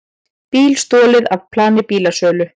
Bíl stolið af plani bílasölu